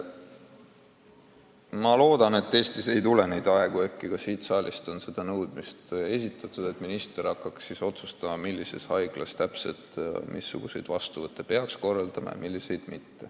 Ma loodan, et Eestis ei tule aega – ka siit saalist on seda küll nõutud –, mil minister hakkab otsustama, mis haiglas mis vastuvõtte peaks korraldama.